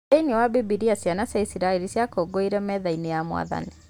Thĩiniĩ wa Bibilia ciana cia israeli ciakũngũĩrĩire metha ya mwathani